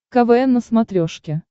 квн на смотрешке